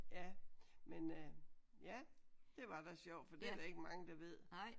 Ja men øh ja det var da sjovt for det er der ikke mange der ved